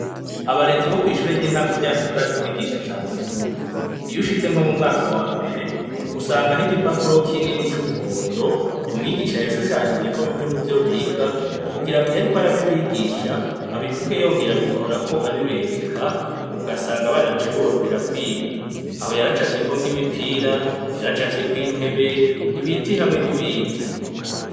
Abarezi bo kw'ishure ryacu ry'intango barazi kwigisha cane nukuri! Iyo ushitse nko mu mwaka wa mbere, usangaho igipapuro kinini c'umuhondo, umwigisha yashushanijeko bimwe muvyo biga, kugira ngo iyo ariko arabibigisha, abivuge yongera abikorako abibereka, ugasanga abana bica biborohera kwiga. Aho yaracafyeko nk'imipira, yaracafyeko intebe, ibiti hamwe n'ibindi.